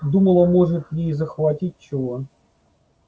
думала может ей захватить чего